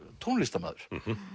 tónlistarmaður